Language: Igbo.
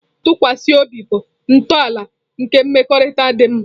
Ntụkwasị obi bụ ntọala nke mmekọrịta dị mma.